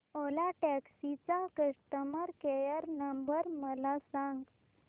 ओला taxi चा customer care number मला सांग